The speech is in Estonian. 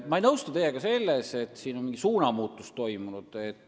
Ma ei nõustu teiega selles, et siin on mingi suunamuutus toimunud.